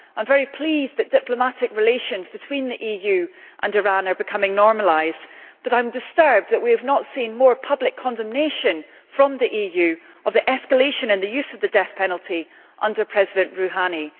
I am very pleased that diplomatic relations between the EU and Iran are becoming normalised, but I am disturbed that we have not seen more public condemnation from the EU of the escalation in the use of the death penalty under President Rouhani.